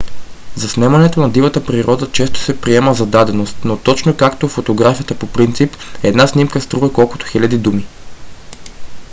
заснемането на дивата природа често се приема за даденост но точно както фотографията по принцип една снимка струва колкото хиляда думи